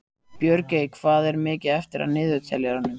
Björgey, hvað er mikið eftir af niðurteljaranum?